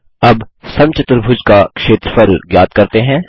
अब समचतुर्भुज का क्षेत्रफल ज्ञात करते हैं